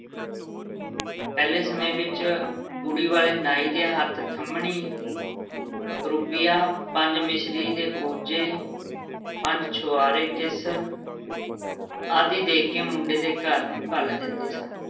ਪਹਿਲੇ ਸਮੇਂ ਵਿੱਚ ਕੁੜੀ ਵਾਲੇ ਨਾਈ ਦੇ ਹੱਥ ਖੰਮ੍ਹਣੀ ਰੁਪਈਆ, ਪੰਜ ਮਿਸਰੀ ਦੇ ਕੂਜੇ, ਪੰਜ ਛੁਹਾਰੇ ਕਿਸ ਆਦਿ ਦੇ ਕੇ ਮੁੰਡੇ ਦੇ ਘਰ ਨੂੰ ਘੱਲ ਦਿੰਦੇ ਸਨ।